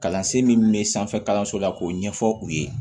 Kalansen min bɛ sanfɛ kalanso la k'o ɲɛfɔ u ye